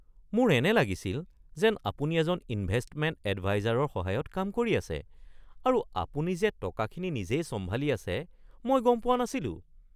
মোৰ এনে লাগিছিল যেন আপুনি এজন ইনভেষ্টমেণ্ট এডভাইজাৰৰ সহায়ত কাম কৰি আছে আৰু আপুনি যে টকাখিনি নিজেই চম্ভালি আছে মই গম পোৱা নাছিলোঁ।